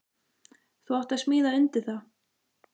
Þú átt að smíða undir það.